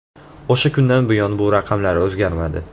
O‘sha kundan buyon bu raqamlar o‘zgarmadi.